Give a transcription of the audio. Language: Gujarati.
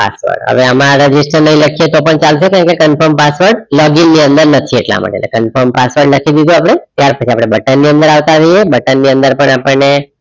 Password હવે આમાં register ને એ લખીયે તો પણ ચાલશે એટલે confirm password login ની અંદર નથી ઇટા માટે એટલે confirm password લખી દીધું આપડે ત્યાર પછી આપણે button ની અંદર આવતા રેહીએ button ની અંદર પણ આપણ ને